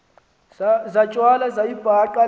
zatywala wayibhaqa le